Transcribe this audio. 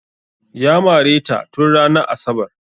Ya mare ta tun ranar asabar